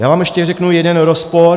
Já vám ještě řeknu jeden rozpor.